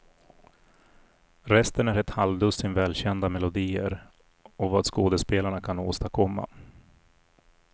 Resten är ett halvdussin välkända melodier och vad skådespelarna kan åstadkomma.